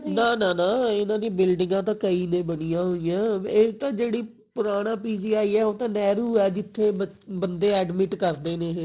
ਨਾ ਨਾ ਇਹਨਾਂ ਦੀ building ਆ ਤਾਂ ਕਈ ਨੇ ਬਣੀਆਂ ਹੋਈਆਂ ਇਹ ਤਾਂ ਜਿਹੜੀ ਪੁਰਾਣਾ PGI ਹੈ ਉਹ ਤਾਂ ਨਹਿਰੂ ਹੈ ਜਿੱਥੇ ਬੰਦੇ admit ਕਰਦੇ ਨੇ ਇਹ